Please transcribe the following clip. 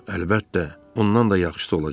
Əlbəttə, ondan da yaxşısı olacaq.